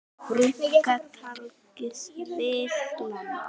Brúnka tagli sveifla má.